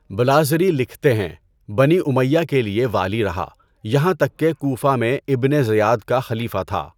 بلاذری لکھتے ہیں، بنی امیّہ کے لیے والی رہا یہاں تک کہ کوفہ میں ابن زیاد کا خلیفہ تھا۔